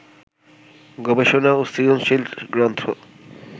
গবেষণা ও সৃজনশীল গ্রন্থ